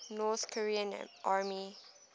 north korean army